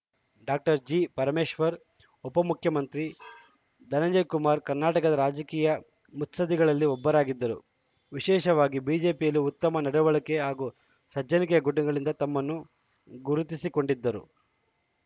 doctor G Parameshwar ಉಪಮುಖ್ಯಮಂತ್ರಿ ಧನಂಜಯಕುಮಾರ್‌ ಕರ್ನಾಟಕದ ರಾಜಕೀಯ ಮುತ್ಸದ್ದಿಗಳಲ್ಲಿ ಒಬ್ಬರಾಗಿದ್ದರು ವಿಶೇಷವಾಗಿ ಬಿಜೆಪಿಯಲ್ಲಿ ಉತ್ತಮ ನಡವಳಿಕೆ ಮತ್ತು ಸಜ್ಜನಿಕೆಯ ಗುಡ್ಡಗಳಿಂದ ತಮ್ಮನ್ನು ಗುರುತಿಸಿಕೊಂಡಿದ್ದರು